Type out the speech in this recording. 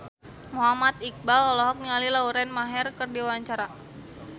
Muhammad Iqbal olohok ningali Lauren Maher keur diwawancara